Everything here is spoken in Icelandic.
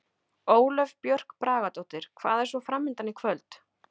Ólöf Björk Bragadóttir: Hvað er svo framundan í kvöld?